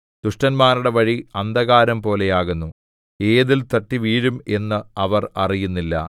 ദുഷ്ടന്മാരുടെ വഴി അന്ധകാരംപോലെയാകുന്നു ഏതിൽ തട്ടിവീഴും എന്ന് അവർ അറിയുന്നില്ല